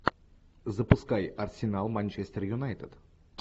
запускай арсенал манчестер юнайтед